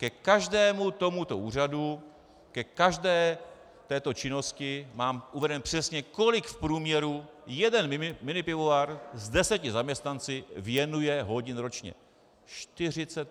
Ke každému tomuto úřadu, ke každé této činnosti mám uvedeno přesně, kolik v průměru jeden minipivovar s deseti zaměstnanci věnuje hodin ročně.